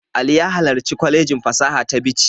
Ali ya halarci kwalejin fasaha ta Bichi.